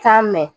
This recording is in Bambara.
San mɛ